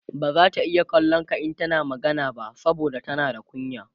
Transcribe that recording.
bazata iya kallon ka in tana magana ba saboda tana da kunya